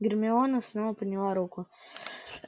гермиона снова подняла руку